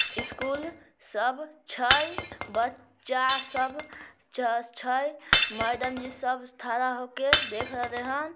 School सब छै बच्चा सब च-च छै मैडम जी सब ठड़ा होके देख रहले हैन।